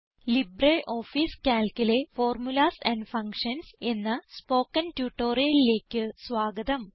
LibreOffice Calcലെ formulas and functions എന്ന spoken ട്യൂട്ടോറിയലിലേക്ക് സ്വാഗതം